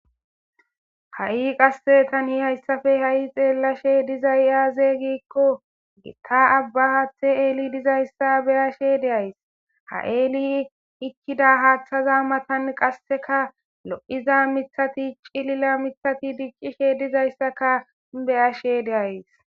ha7i qasse tani hayssafe ha7i xeellashe dizay aaze giikko gita abba haathe eeli dizayssa beyashe deays ha eeli ikkida haaththaza matan qasseka lo7iza mithati cilila mithati diccishe dizayssaka beyashe deays